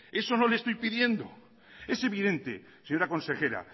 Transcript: eso no le estoy pidiendo es evidente señora consejera